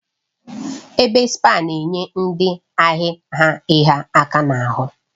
Ebe spaa na-enye ndị ahịa ha ịhịa aka n'ahụ